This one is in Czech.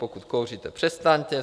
Pokud kouříte, přestaňte.